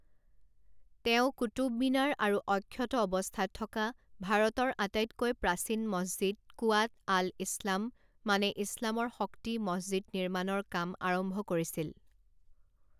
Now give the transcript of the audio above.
তেওঁ কুতুব মিনাৰ আৰু অক্ষত অৱস্থাত থকা ভাৰতৰ আটাইতকৈ প্ৰাচীন মছজিদ কুৱাত আল ইছলাম মানে ইছলামৰ শক্তি মছজিদ নিৰ্মাণৰ কাম আৰম্ভ কৰিছিল।